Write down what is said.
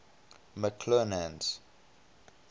mcclernand's